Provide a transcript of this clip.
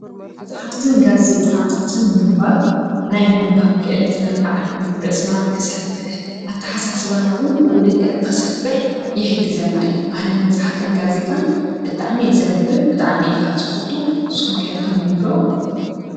መፅሓፍትን ጋዜይጣታታትን ምንባብ ናይ ምንባብ ክእለትና ኽዓቢ ርእስና ክሰፍሕ ኣተሓሳስባና ውን ብኡ ልክዕ ኽሰፍሕ ይሕግዘና እዩ፡፡ ኣነ መፅሓፍን ጋዜይጣን ብጣዕሚ እየ ዘንብብ ብጣዕሚ እየ ኻኣ ዝፈቱ ንስኹም ከ ተንብቡ ዶ?